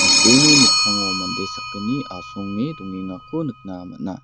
mikkango mande sakgni asonge dongengako nikna man·a.